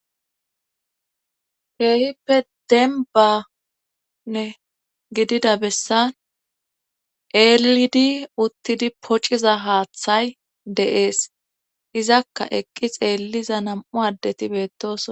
Peehippe denbanne gidida bessan eelidi uttidi pociza haaththay deees izakka eqqi xeelliza nam'u addeti beettoss.